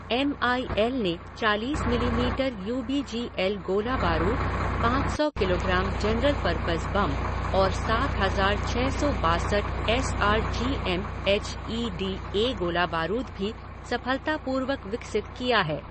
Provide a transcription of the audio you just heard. M I L ने चालीस millimetre U B G L गोला बारूद, पाँच सौ किलोग्राम जनरल परपज़ बम और सात हज़ार छ सौ बासठ S R G M H E D A गोला बारूद भी सफलतापूर्वक विकसित किया है।